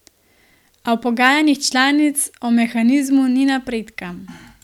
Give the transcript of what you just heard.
A v pogajanjih članic o mehanizmu ni napredka.